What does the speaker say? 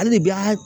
Hali de bi an ka